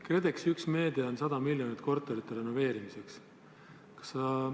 KredExi üks meede on 100 miljonit korterite renoveerimiseks.